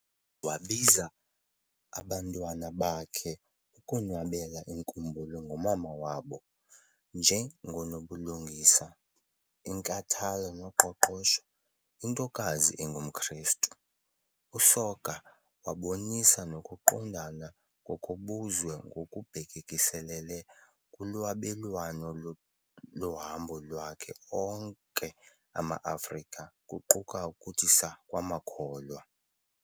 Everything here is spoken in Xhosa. Wabiza abantwana bakhe ukonwabela inkumbulo ngomama wabo "njengonobulungisa, inkathalo noqoqosho, intokazi engumKrestu". USoga wabonisa nokuqondana ngokobuzwe ngokubhekiselele kulwabelwano lohambo lwawo onke ama-Afrika, kuquka ukuthi saa kwamakholwa.